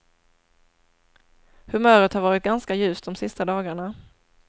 Humöret har varit ganska ljust de sista dagarna.